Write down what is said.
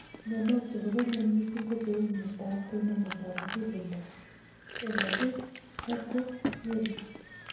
Myonok chekoromen missing kocheuu myondo ab tononet ab muguleldo ,eng agoi cham ko ng�ering .